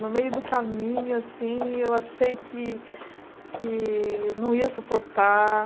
No meio do caminho, assim eu achei que que não ia suportar.